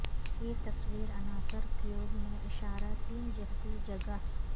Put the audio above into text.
یہ تصویر عناصر کیوب میں اشارہ تین جہتی جگہ